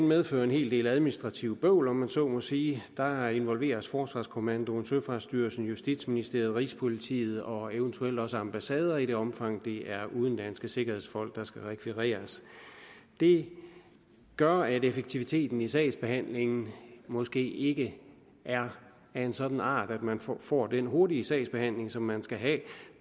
medfører en hel del administrativt bøvl om man så må sige heri involveres forsvarskommandoen søfartsstyrelsen justitsministeriet rigspolitiet og eventuelt også ambassader i det omfang det er udenlandske sikkerhedsfolk der skal rekvireres det gør at effektiviteten i sagsbehandlingen måske ikke er af en sådan art at man får den hurtige sagsbehandling som man skal have